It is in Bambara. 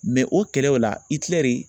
Mɛ o kɛlɛ o la Itilɛri